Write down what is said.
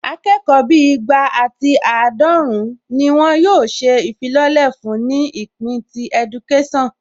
Akẹ́kọ̀ọ́ bíi igba ati àádọ́run ni wọn yóò ṣe ìfilọ́lẹ̀ fún ní ìpín ti ẹdukésàn